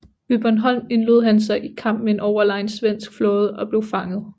Ved Bornholm indlod han sig i kamp med en overlegen svensk flåde og blev fanget